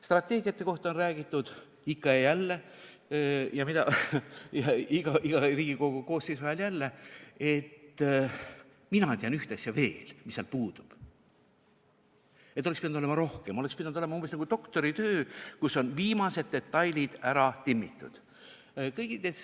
Strateegiate kohta on räägitud ikka ja jälle ja iga Riigikogu koosseisu ajal, et mina tean ühte asja veel, mis seal puudub, et seal oleks pidanud olema rohkem, see oleks pidanud olema umbes nagu doktoritöö, kus on viimasedki detailid ära timmitud.